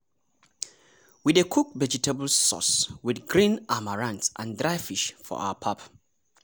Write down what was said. we dey cook vegetable sauce wit green amaranth and dry fish for our pap.